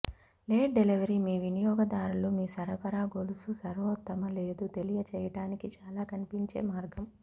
late delivery మీ వినియోగదారులు మీ సరఫరా గొలుసు సర్వోత్తమ లేదు తెలియజేయడానికి చాలా కనిపించే మార్గం